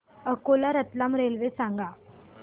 Akola Ratlam railway सांगा